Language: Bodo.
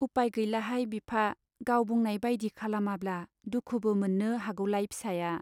उपाय गैलाहाय बिफा, गाव बुंनाय बाइदि खालामाब्ला दुखुबो मोन्नो हागौलाय फिसाया।